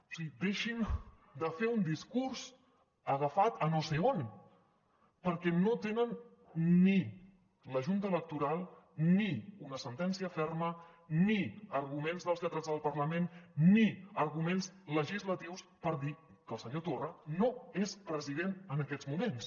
o sigui deixin de fer un discurs agafat a no sé on perquè no tenen ni la junta electoral ni una sentència ferma ni arguments dels lletrats del parlament ni arguments legislatius per dir que el senyor torra no és president en aquests moments